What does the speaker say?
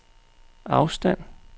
afstand